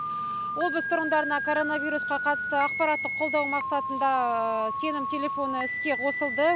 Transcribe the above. облыс тұрғындарына коронавирусқа қатысты ақпаратты қолдау мақсатында сенім телефоны іске қосылды